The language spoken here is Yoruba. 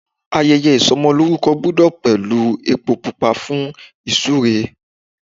Ayẹyẹ ìsọmọlórúkọ gbúdọ̀ pẹ̀lú epo pupa fún ìsúre.